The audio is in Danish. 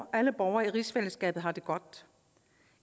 at alle borgere i rigsfællesskabet har det godt